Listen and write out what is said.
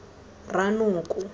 ranoko